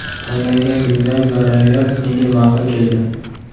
Tanlangan dizayn va ranglar menga ma’qul keldi.